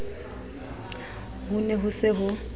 ho ne ho se ho